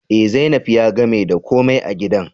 Eh, zainab ya gamer da ko mai a gidan